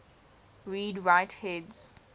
read write heads